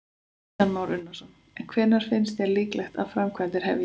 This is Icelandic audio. Kristján Már Unnarsson: En hvenær finnst þér líklegt að framkvæmdir hefjist?